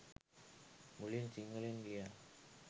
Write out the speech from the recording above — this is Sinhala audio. මුලින් සිංහලෙන් ලියා